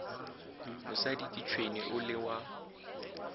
mosadi ke tšhwene o lewa